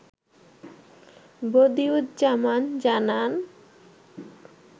বদিউজ্জামান জানান